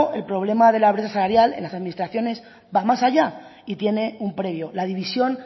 el problema de la brecha salarial en las administraciones va más allá y tiene un previo la división